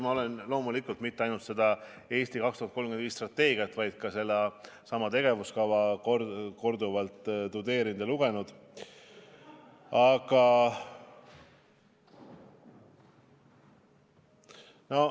Ma olen loomulikult mitte ainult seda "Eesti 2035" strateegiat, vaid ka seda tegevuskava korduvalt tudeerinud ja lugenud.